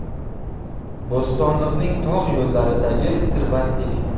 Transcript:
Bo‘stonliqning tog‘ yo‘llaridagi tirbandlik.